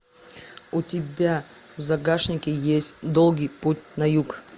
у тебя в загашнике есть долгий путь на юг